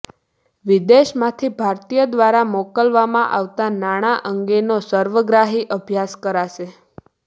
વિદેશમાંથી ભારતીય દ્વારા મોકલવામાં આવતાં નાણાં અંગેનો સર્વગ્રાહી અભ્યાસ કરાશે